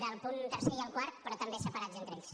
del punt tercer i el quart però també separats entre ells